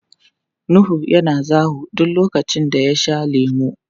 Nuhu yana zawo duk lokacin da ya sha lemu.